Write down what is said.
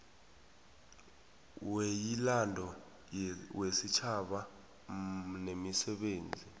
weyilando wesitjhaba nemisebenzi